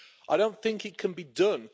I don't think it can be done.